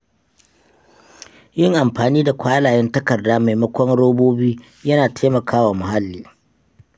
Yin amfani da kwalayen takarda maimakon robobi yana taimakawa muhalli.